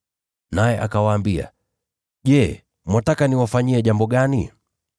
Naye akawaambia, “Je, mwataka niwafanyie jambo gani?”